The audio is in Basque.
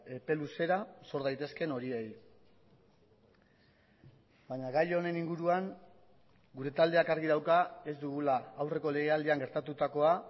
epe luzera sor daitezkeen horiei baina gai honen inguruan gure taldeak argi dauka ez dugula aurreko legealdian gertatutakoa